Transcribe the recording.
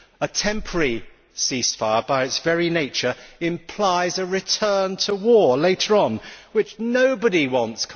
A temporary ceasefire by its very nature implies a return to war later on, which nobody wants.